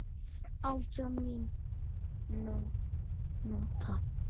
Átjánda mínúta.